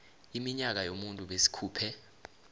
iminyaka yomuntu besikhuphe